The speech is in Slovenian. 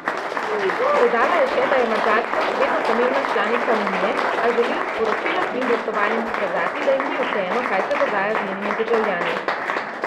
Dodala je še, da je Madžarska še vedno pomembna članica unije, a želijo s poročilom in glasovanjem pokazati, da jim ni vseeno, kaj se dogaja z njenimi državljani.